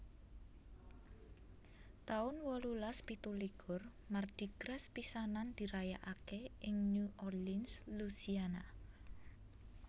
taun wolulas pitu likur Mardi Gras pisanan dirayakaké ing New Orleans Louisiana